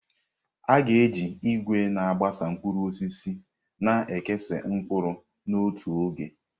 A ga-eji ìgwè na-agbasa mkpụrụ osisi na-ekesa mkpụrụ n'otu oge.